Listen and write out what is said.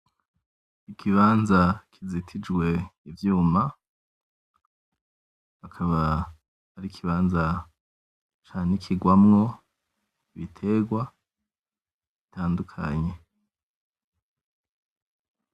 Ikibanza kizitijwe ivyuma. akaba ari ikibanza canikigwamwo ibitegwa bitandukanye.